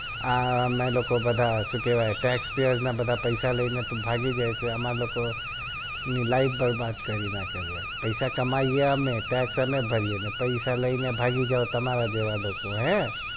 આ આમે લોકો બધા શું કેવાઈ text fiyar ના બધા પૈસા લઇ ને ભાગી જાવ આમારી લોકો ની life બરબાદ કરી નાખો છો પૈસા કમાઈ એ આમે text આમે ભરીયે અને પૈસા લઇ ને ભાગી જાવ તમારા જેવા લોકો હે